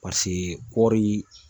kɔɔri